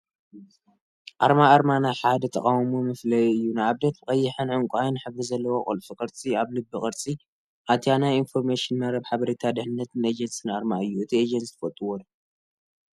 አርማ አርማ ናይ ሓደ ተቋም መፍለይ እዩ፡፡ ንአብነተ ብቀይሕንዕንቋይን ሕብሪ ዘለዎ ቁልፉ ቅርፂ አበ ልቢ ቅርፂ አትያ ናይ ኢንፎርሞሽን መረብ ሓበሬታ ድሕንነትን ኤጀንሲ አርማ እዩ፡፡ እዚ ኤጀንሲ ትፈልጥዎ ዶ?